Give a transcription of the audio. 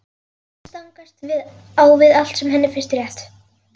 Það stangast á við allt sem henni finnst rétt.